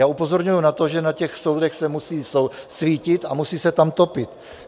Já upozorňuji na to, že na těch soudech se musí svítit a musí se tam topit.